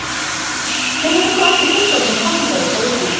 Hvenær fengu allir fullorðnir kosningarétt á Íslandi?